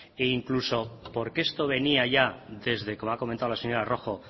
e incluso porque esto venía ya desde como ha comentado la señora rojo